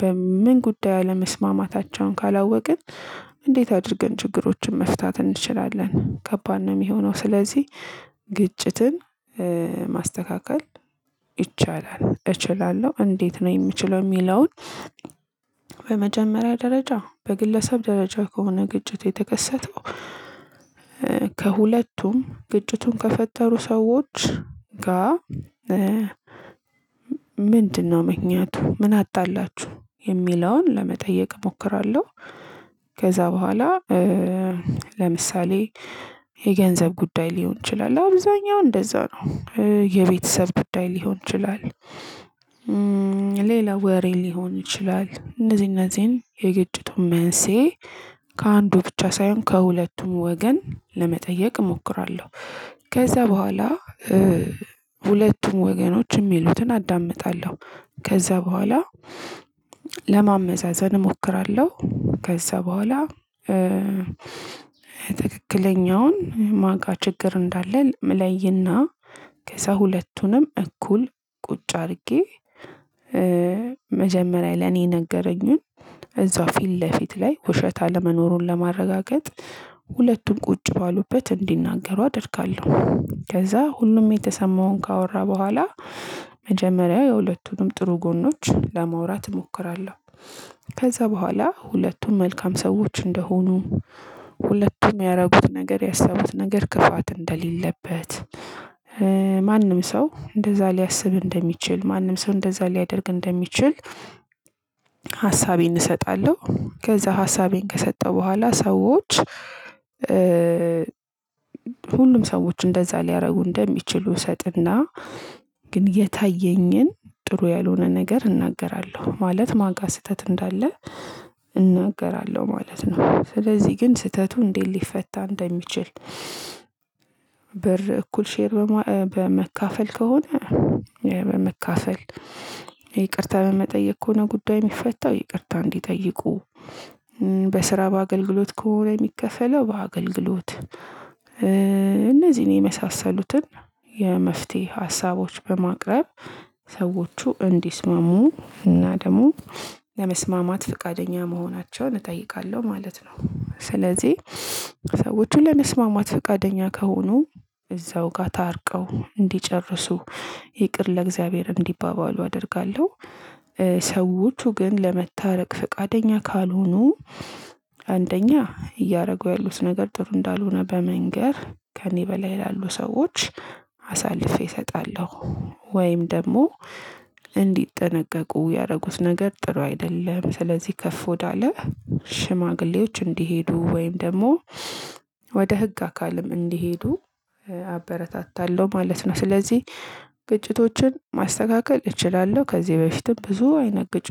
በምን ጉዳይ አለመስማማታቸውን ካላወቅን። እንዴት አድርገን ችግሮችን መፍታት እንችላለን ከባድ ነው የሚሆነው። ስለዚህ ግጭትን ማስተካከል ይቻላል። እችላለሁ እንዴት ነው የምችለው የሚለውን። በመጀመሪያ ደረጃ በግለሰብ ደረጃ ከሆነ ግጭት የተከሰተው ከሁለቱም ግጭቱን ከፈጠሩ ሰዎች ጋር ምክንያቱ ምን አጣላችሁ የሚለውን ለመጠየቅ እሞክራለሁ። ከዛ በኋላ ለምሳሌ የገንዘብ ጉዳይ ሊሆን ይችላል አብዛኛውን እንደዛ ነው። የቤተሰብ ጉዳይ ሊሆን ይችላል። ሌላ ወሬ ሊሆን ይችላል እነዚህ እንዚህን የግጭቱ መንሳኤ ከአንዱ ብቻ ሳይሆን ከሁለቱም ወገን ለመጠየቅ እሞክራለሁ። ከዛ በኋላ ሁለቱም ወገኖች የሚሉትን አዳምጣለሁ። ከዛ በኋላ ለማመዛዘን እሞክራለሁ። ከዛ በኋላ ትክክለኛውን ማን ጋ ችግር እንዳለ ምለይ እና ከሰው ሁለቱንም እኩል ቁጭ አድርጌ። መጀመሪያ ለኔ ነገረኝን እዛው ፊት ለፊት ላይ ውሸት አለመኖሩን ለማረጋገጥ ሁለቱን ቁጭ ባሉበት እንዲናገሩ አደርጋለሁ ከዛ ሁሉም የተሰማውን ካወራ በኋላ መጀመሪያ የሁለቱንም ጥሩ ጎኖች ለማውራት እሞክራለሁ። ከዛ በኋላ ሁለቱም መልካም ሰዎች እንደሆኑ ሁለቱም ያደረጉት ነገር ያሳዩት ነገር ክፋት እንደሌለበት ማንም ሰው እንደዛ ሊያስብ እንደሚችል ማንም ሰው እንደዛ ሊያደርግ እንደሚችል። ሀሳቤን እሰጣለሁ ከዛ ሀሳቤን ከሰጠሁ በኋላ ሰዎች። ሁሉም ሰዎች እንደዛ ሊያደርጉ እንደሚችሉ እሰጥና። ግን የታየኝን ጥሩ ያልሆነ ነገር እናገራለሁ ማለት ማን ጋር ስህተት እንዳለ እናገራለሁ ማለት ነው። ስለዚህ ግን ስህተቱ እንዴት ሊፈታ እንደሚችል። ብር እኩል ሼር በማ በማካፈል ከሆነ ያው በመካፈል ይቅርታ በመጠየቅ ከሆነ ጉዳይ የሚፈታው ይቅርታ እንዲጠይቁ። በስራ በአገልግሎት ከሆነ የሚከፈለው በአገልግሎት እነዚህን የመሳሰሉትን የመፍትሄ ሀሳቦች በማቅረብ ሰዎቹ እንዲስማሙ እና ደግሞ ለመስማማት ፈቃደኛ መሆናቸውን እጠይቃለሁ ማለት ነው። ስለዚህ ሰዎቹን ለመስማማት ፈቃደኛ ከሆኑ እዛው ጋር ታርቀው እንዲጨርሱ ይቅር ለእግዚአብሔር እንዲባባሉ አደርጋለሁ። ሰዎቹ ግን ለመታረቅ ፈቃደኛ ካልሆኑ አንደኛ እያደረጉ ያሉት ነገር ጥሩ እንዳልሆነ በመንገር ከእኔ በላይ ላሉ ሰዎች አሳልፌ እሰጣለሁ። ወይም ደግሞ እንዲጠነቀቁ ያደረጉት ነገር ጥሩ አይደለም ስለዚህ ከፍ ወዳለ ሽማግሌዎች እንዲሄዱ ወይም ደግሞ ወደ ህግ አካልም እንዲሄዱ አበረታታለሁ ማለት ነው። ስለዚህ ግጭቶችን ማስተካከል እችላለሁ ከዚህ በፊትም ብዙ አይነት ግጭት